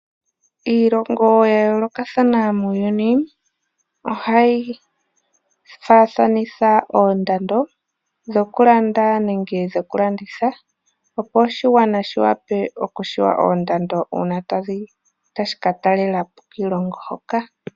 Iilongo ya yoolokathana muuyuni ohayi faathanitha oondando dhokulanda nenge dhokulanditha. Opo oshigwana shi tseye oondando uuna tashi ka talelapo kiilongo hoka.